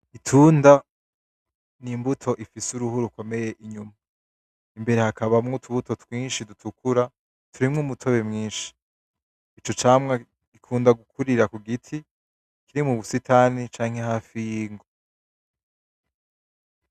Itunda, n'imbuto ifise uruhu rukomeye inyuma. Imbere hakabamwo utubuto twinshi dutukura, turimwo umutobe mwinshi. Ico camwa gikunda gukurira kugiti kirimwo ubusitani canke hafi y'ingo.